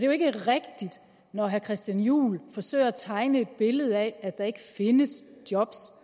jo ikke rigtigt når herre christian juhl forsøger at tegne et billede af at der ikke findes job